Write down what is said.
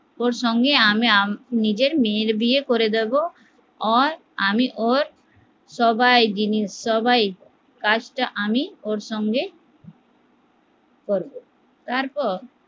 ওর সঙ্গে আমি নিজের মেয়ের বিয়ে করে দেব ওর আমি ওর সবাই সবাই কাজটা আমি ওর সঙ্গে করবো তারপর